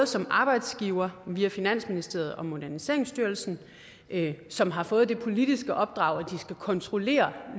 som arbejdsgiver via finansministeriet og moderniseringsstyrelsen som har fået det politiske opdrag at de skal kontrollere